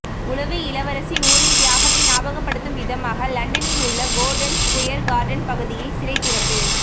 உளவு இளவரசி நூரின் தியாகத்தை ஞாபகப்படுத்தும் விதமாக லண்டனில் உள்ள கோர்டன் ஸ்குயர் கார்டன் பகுதியில் சிலை திறப்பு